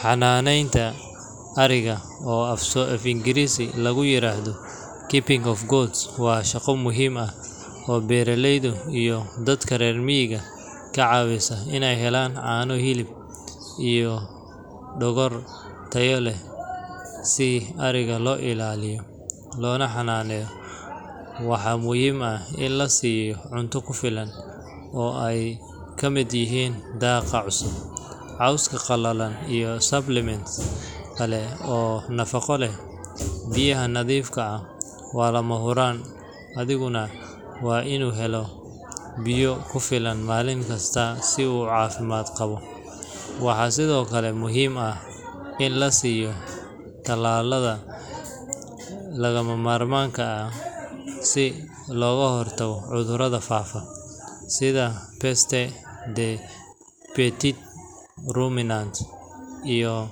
Xanaanaynta ariga, oo af-Ingiriisi lagu yiraahdo keeping of goats, waa shaqo muhiim ah oo beeraleyda iyo dadka reer miyiga ka caawisa inay helaan caano, hilib, iyo dhogor tayo leh. Si ariga loo ilaaliyo loona xannaano, waxaa muhiim ah in la siiyo cunto ku filan oo ay ka mid yihiin daaqa cusub, cawska qalalan, iyo supplements kale oo nafaqo leh. Biyaha nadiifka ah waa lama huraan, ariguna waa inuu helo biyo ku filan maalin kasta si uu u caafimaad qabo. Waxaa sidoo kale muhiim ah in la siiyo tallaalada lagama maarmaanka ah si looga hortago cudurrada faafa, sida peste des petits ruminants iyo